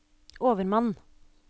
overmann